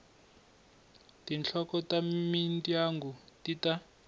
tinhloko ta mindyangu ti ta